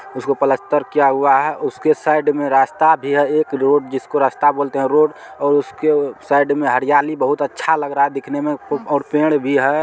उसको प्लास्टर किया हुआ है उसके साइड में रास्ता भी है एक रोड जिसको रस्ता बोलते हैं रोड और उसके साइड में हरियाली बहोत अच्छा लग रहा है दिखने में खूब और पेड़ भी हैं।